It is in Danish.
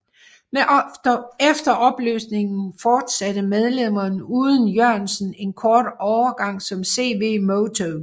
Efter opløsningen fortsatte medlemmerne uden Jørgensen en kort overgang som CV Moto